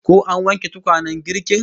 Ko an wanke tukwanen girkin?